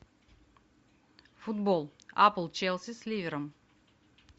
футбол апл челси с ливером